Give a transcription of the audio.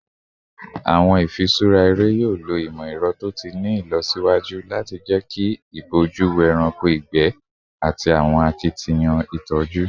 Awọn ifiṣura ere yoo lo imọ-ẹrọ to ti ni ilọsiwaju lati jẹki ibojuwo ẹranko igbẹ ati awọn akitiyan itoju